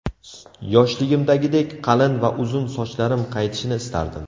Yoshligimdagidek qalin va uzun sochlarim qaytishini istardim!.